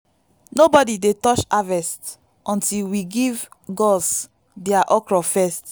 nobody dey touch harvest until we give gods their okro first.